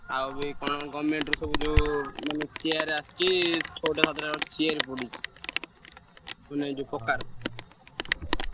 ଆଉବି କଣ government ରୁ ସବୁ ଯଉ ମାନେ chair ଆସିଚି ଛଅ ସାତ ଟା chair ପଡ଼ିଚି। ମାନେ ଏ ପକାର।